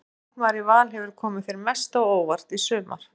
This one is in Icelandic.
Hvaða leikmaður í Val hefur komið þér mest á óvart í sumar?